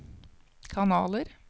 kanaler